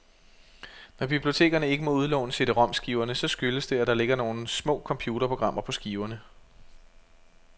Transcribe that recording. Når bibliotekerne ikke må udlåne CDromskiverne, så skyldes det, at der ligger nogle små computerprogrammer på skiverne.